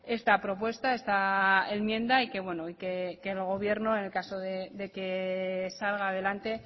esta propuesta esta enmienda y bueno el gobierno en caso de que salga adelante